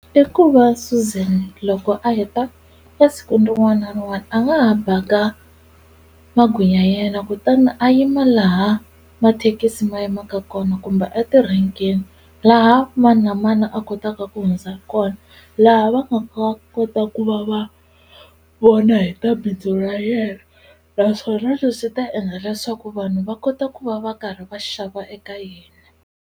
I ku va Suzan loko a heta esikwini rin'wana na rin'wana a nga ha baka magwinya ya yena kutani a yima laha mathekisi ma yimaka kona kumbe etirhenkeni laha mani na mani a kotaka ku hundza ha kona laha va kota ku va va vona hi ta bindzu ra yena naswona leswi ta endla leswaku vanhu va kota ku va va karhi va xava eka yena.